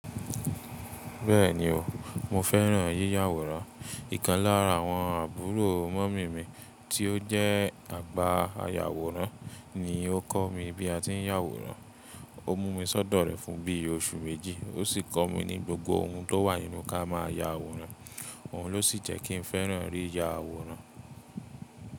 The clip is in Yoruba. Bẹ́ẹ̀ni o, mo fẹ́ràn yíya àwòrán. Íkan lára àwọn àbúrò mọ́mì mi tí ó jẹ́ àgbà aya àwòrán ni o kọ́ mi bí a ti ń ya àwòrán. O mú mi sọ́dọ̀ rẹ̀ fún bí i oṣù méjì, ó sì kọ́ mi ní gbogbo ohun tó wà nínú kí a má ya àwòrán. Òhun ló sì jẹ́ kí n fẹ́ràn rí ya àwòrán.